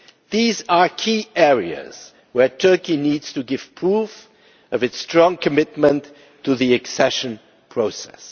These are key areas where Turkey needs to give proof of its strong commitment to the accession process.